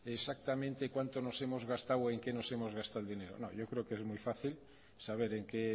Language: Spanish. exactamente cuánto nos hemos gastado o en qué nos hemos gastado el dinero no yo creo que es muy fácil en saber en qué